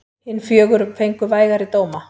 Hin fjögur fengu vægari dóma.